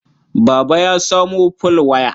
Baba ya samo folwaya.